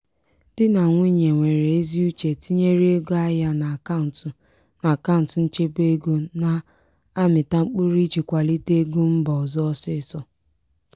di na nwunye nwere ezi uche tinyere ego ahịa n'akaụntụ n'akaụntụ nchebe ego na-amịta mkpụrụ iji kwalite ego mba ọzọ ọsịịsọ.